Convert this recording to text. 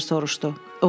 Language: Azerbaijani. Professor soruşdu.